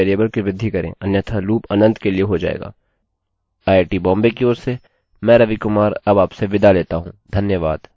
IIT Bombay की ओर से मैं रवि कुमार आपसे विदा लेता हूँ धन्यवाद